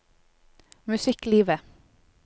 musikklivet